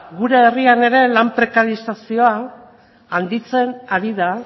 gure herrian ere lan prekariezazioa handitzen ari da